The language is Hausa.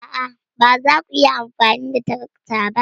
A'a, ba za ku iya amfani da tarakta ba.